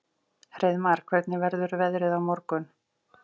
Hreiðmar, hvernig verður veðrið á morgun?